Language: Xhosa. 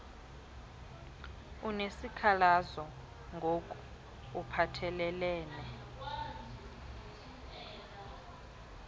unesikhalazo ngok uphathelelene